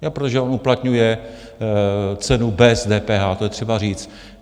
Protože on uplatňuje cenu bez DPH, to je třeba říct.